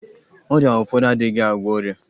Ọrịa ụfọdụ adịghị agwọ ọrịa.